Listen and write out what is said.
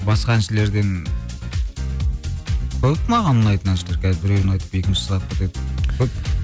басқа әншілерден көп маған ұнайтын әншілер қазір біреуін айтып екіншісі қалып кетеді көп